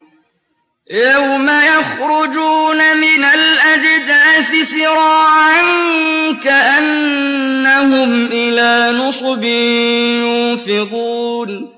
يَوْمَ يَخْرُجُونَ مِنَ الْأَجْدَاثِ سِرَاعًا كَأَنَّهُمْ إِلَىٰ نُصُبٍ يُوفِضُونَ